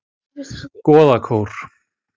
Goðakór